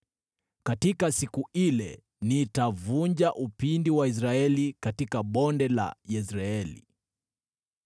Katika siku ile nitavunja upinde wa Israeli katika Bonde la Yezreeli.”